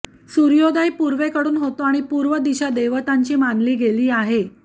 सूर्योदय पूर्वेकडून होतो आणि पूर्व दिशा देवतांची मानली गेली आहे